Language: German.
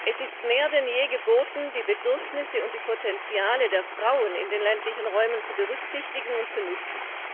Es ist mehr denn je geboten, die Bedürfnisse und die Potenziale der Frauen in den ländlichen Räumen zu berücksichtigen und zu nutzen.